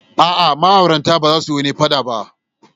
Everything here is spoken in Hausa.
A'a, ma'auratan ba su yi wani fada ba.